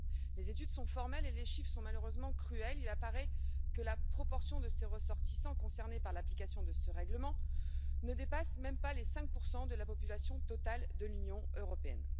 Les études sont formelles et les chiffres sont malheureusement cruels il apparaît que la proportion des ressortissants concernés par l'application de ce règlement ne dépasse même pas les 5 de la population totale de l'Union européenne.